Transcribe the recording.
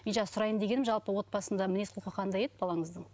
мен жаңа сұрайын дегенім жалпы отбасында мінез құлқы қандай еді балаңыздың